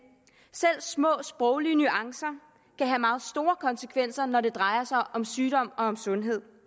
selv små sproglige nuancer kan have meget store konsekvenser når det drejer sig om sygdom og om sundhed